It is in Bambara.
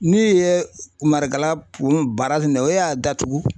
Ni ye Marakala o y'a datugu